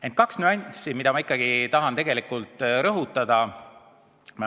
Ent on kaks nüanssi, mida ma ikkagi tahan rõhutada.